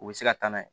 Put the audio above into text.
U bɛ se ka taa n'a ye